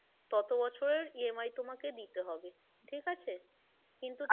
তত বছরের EMI তোমাকে দিতে হবে ঠিক আছে, কিন্তু,